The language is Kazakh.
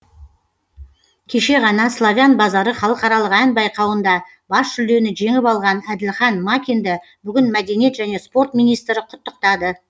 кеше ғана славян базары халықаралық ән байқауында бас жүлдені жеңіп алған әділхан макинді бүгін мәдениет және спорт министрі құттықтады